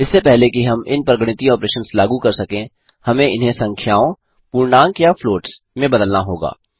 इससे पहले कि हम इन पर गणितीय ऑपरेशंस लागू कर सकें हमें इन्हें संख्याओंपूर्णांक या फ्लॉट्स में बदलना होगा